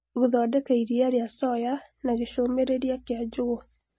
gũthondeka iria rĩa soya na gĩcũmĩrĩria kĩa njũgũ